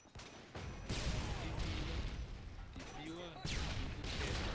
timbila ti biwa hi vukheta